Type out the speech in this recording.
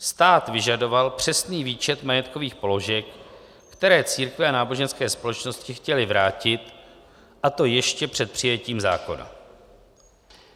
Stát vyžadoval přesný výčet majetkových položek, které církve a náboženské společnosti chtěly vrátit, a to ještě před přijetím zákona.